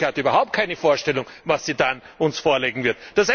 Und die Troika hat überhaupt keine Vorstellung, was sie uns dann vorlegen wird.